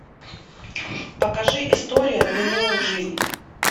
покажи история длиною в жизнь